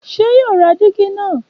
Ṣé yóò ra dígí nà?